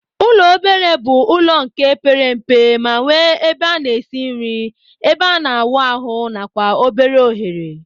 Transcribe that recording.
Ụlọ obere bu ụlọ nke pere mpe ma nwe ebe ana esi nri, ebe ana awụ ahu nakwa obere ohere.